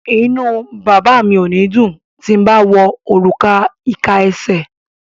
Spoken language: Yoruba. Inú bàbá mi ò ní dùn ti n bá wọ òrùka ìka esè.